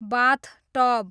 बाथ tub